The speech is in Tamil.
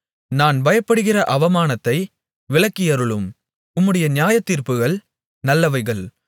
நான் பயப்படுகிற அவமானத்தை விலக்கியருளும் உம்முடைய நியாயத்தீர்ப்புகள் நல்லவைகள்